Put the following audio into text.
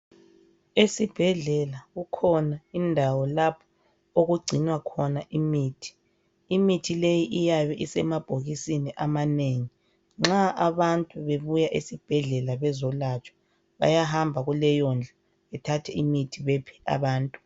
Esibhedlela kukhona indawo lapho okugcina khona imithi. Imithi leyi iyabe isemabhokisini amanengi .Nxa abantu bebuya esibhedlela bezolatshwa bayahamba kuleyondlu bathathe imithi bephe abantu.